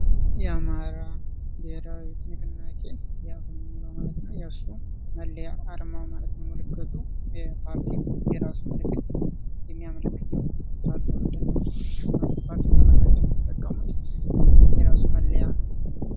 የአማራ ብሄራዊ ንቅንቄ አብን የሚለው ማለት ነው ፤ የርሱ መለያ አርማው ማለት ነው ምልክቱ የፓርቲው የራሱ ምልክት የሚያመለክት ነው። ፓርቲውን ለመግለጽ የተጠቀሙት የራሱ መለያ